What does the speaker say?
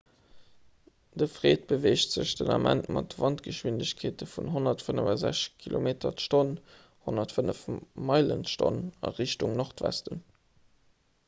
de fred beweegt sech den ament mat wandschwindegkeeten vun 165 km/h 105 meile/h a richtung nordwesten